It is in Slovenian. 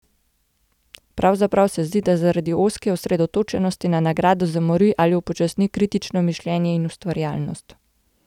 Pravzaprav se zdi, da zaradi ozke osredotočenosti na nagrado zamori ali upočasni kritično mišljenje in ustvarjalnost.